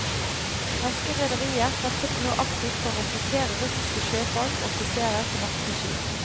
Norske rederier satser nå aktivt på å rekruttere russiske sjøfolk og offiserer til norske skip.